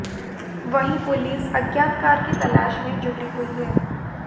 वहीं पुलिस अज्ञात कार की तलाश में जुटी हुई है